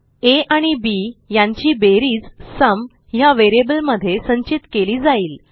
आ आणि बी यांची बेरीज सुम ह्या व्हेरिएबलमध्ये संचित केली जाईल